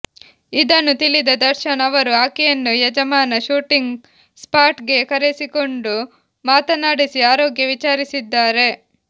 ಇದನ್ನು ತಿಳಿದ ದರ್ಶನ್ ಅವರು ಆಕೆಯನ್ನು ಯಜಮಾನ ಶೂಟಿಂಗ್ ಸ್ಪಾಟ್ಗೆ ಕರೆಸಿಕೊಂಡು ಮಾತನಾಡಿಸಿ ಆರೋಗ್ಯ ವಿಚಾರಿಸಿದ್ದಾರೆ